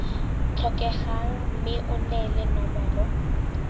tlhokegang mme o neele nomoro